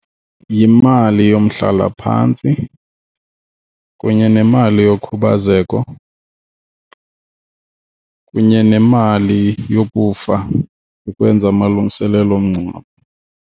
Yimali yomhlalaphantsi kunye nemali yokhubazeko kunye nemali yokufa ukwenza amalungiselelo omngcwabo.